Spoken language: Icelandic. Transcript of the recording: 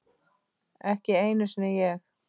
Ekki einu sinni ég!